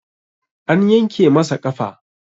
An yanke masa ƙafa